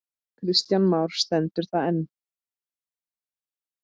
Kristján Már: Stendur það enn?